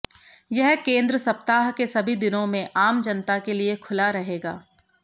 यह केंद्र सप्ताह के सभी दिनों में आम जनता के लिए खुला रहेगा